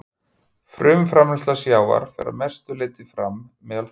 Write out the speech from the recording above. Frumframleiðsla sjávar fer að mestu leyti fram meðal þörunga.